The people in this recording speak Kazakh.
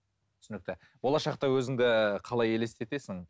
түсінікті болашақта өзіңді қалай елестетесің